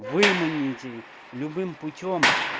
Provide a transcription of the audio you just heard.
выманите любым путём